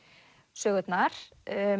sögurnar